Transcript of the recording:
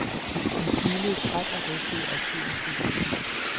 Han smilede træt og rystede opgivende på hovedet.